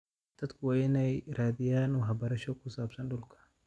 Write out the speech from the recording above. Dadku waa inay raadiyaan waxbarasho ku saabsan dhulka.